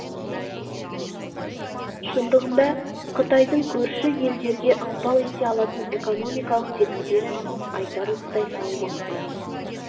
шындығында қытайдың көрші елдерге ықпал ете алатын экономикалық тетіктері айтарлықтай салмақты